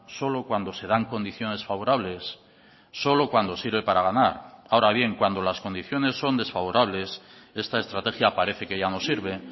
solo cuando se dan condiciones favorables solo cuando sirve para ganar ahora bien cuando las condiciones son desfavorables esta estrategia parece que ya no sirve